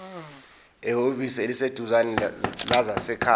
ehhovisi eliseduzane lezasekhaya